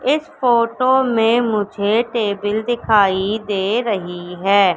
इस फोटो मे मुझे टेबिल दिखाई दे रही है।